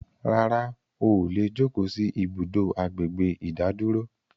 Rárá, óò lè jókò sì ibùdó àgbègbè ìdádúró